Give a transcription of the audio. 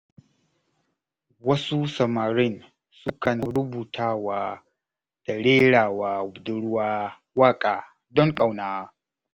Wasu samarin sukan rubutawa da rerawa budurwa waƙa, don ƙauna.